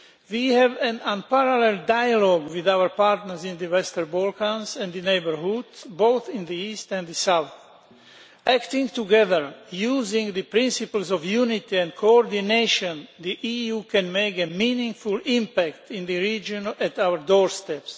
We have an unparalleled dialogue with our partners in the Western Balkans and the neighbourhood, both in the east and the south. Acting together, using the principles of unity and coordination, the EU can make a meaningful impact in the region on our doorstep.